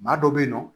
Maa dɔ bɛ yen nɔ